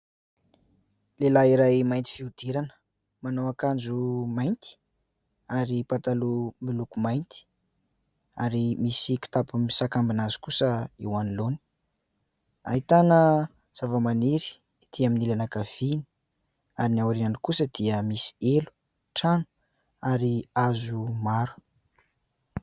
Lehilahy iray mainty fihodirana, manao akanjo mainty ary pataloha miloko mainty ary misy kitapo misakambina azy kosa eo anoloany. Ahitana zavamaniry etỳ amin'ny ilany ankavia ary ny aoriany kosa dia misy helo, trano ary hazo maro.